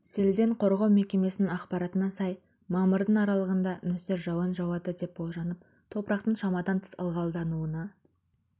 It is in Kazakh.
селден қорғау мекемесінің ақпаратына сай мамырдың мен аралығында нөсер жауын жауады деп болжанып топырақтың шамадан тыс ылғалдануына